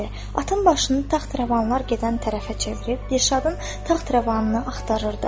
Atın başını taxravanlar gedən tərəfə çevirib Dirşadın taxravanını axtarırdı.